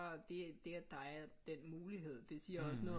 Det at der er den mulighed det siger også noget om